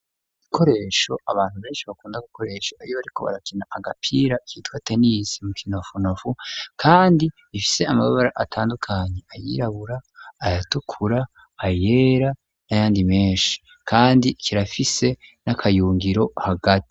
Ibikoresho abantu beshi bakunda gukoresha iyo bariko barakina agapira kitwa tenis mu kinofunofu kandi ifise amababara, atandukanye ,ayirabura ayatukura ayera n'ayandi meshi kandi kirafise n'akayungiro hagati.